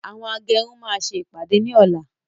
Àwọn agẹrun máa ṣe ìpàdé ní ọ̀la